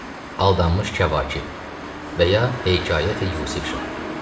Aldanmış Kəvakib və ya Heykayəti Yusif Şah.